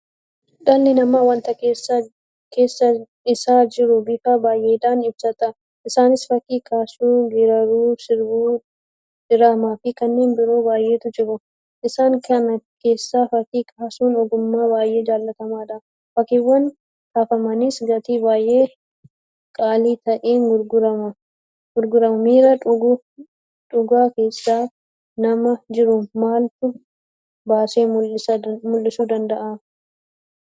Dhalli namaa waanta keessa isaa jiru bifa baay'eedhaan ibsata. Isaanis Fakkii kaasuu, Geerraruu, Sirbuu, Diraamaafi Kanneen biroo baay'eetu jiru. Isaan kana keessaa Fakkii kaasuun ogummaa baay'ee jaalatamaadha. Fakkiiwwan kaafamanis gatii baay'ee qaalii ta'een gurguramu. Miira dhugaa keessa namaa jiru maaltu baasee mul'isuu danda'a?